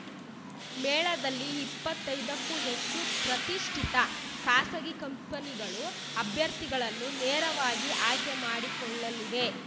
ಮೇಳದಲ್ಲಿ ಇಪ್ಪತ್ತೈದಕ್ಕೂ ಹೆಚ್ಚು ಪ್ರತಿಷ್ಠಿತ ಖಾಸಗಿ ಕಂಪನಿಗಳು ಅಭ್ಯರ್ಥಿಗಳನ್ನು ನೇರವಾಗಿ ಆಯ್ಕೆ ಮಾಡಿಕೊಳ್ಳಲಿವೆ